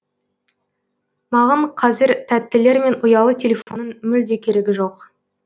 маған қазір тәттілер мен ұялы телефонның мүлде керегі жоқ